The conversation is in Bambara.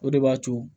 O de b'a to